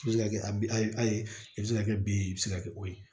I bɛ se ka kɛ a bi a ye a ye i bɛ se ka kɛ bin ye i bɛ se ka kɛ o ye